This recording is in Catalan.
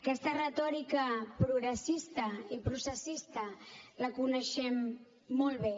aquesta retòrica progressista i processista la coneixem molt bé